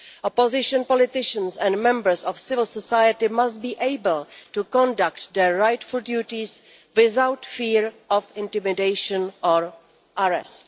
Opposition politicians and members of civil society must be able to conduct their rightful duties without fear of intimidation or arrest.'